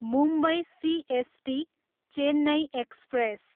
Mumbai CST, Chennai express